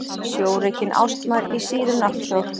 Sjórekin ástmær í síðum náttkjól.